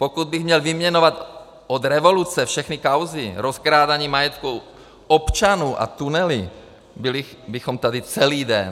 Pokud bych měl vyjmenovat od revoluce všechny kauzy, rozkrádání majetku občanů a tunely, byli bychom tady celý den.